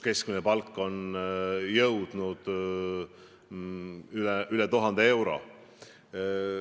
Keskmine palk on jõudnud üle 1000 euro.